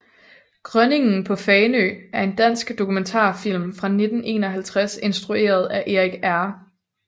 Grønningen på Fanø er en dansk dokumentarfilm fra 1951 instrueret af Erik R